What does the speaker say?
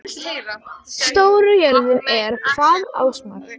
Ásmar, hvað er jörðin stór?